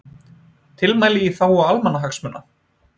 Tilmæli í þágu almannahagsmuna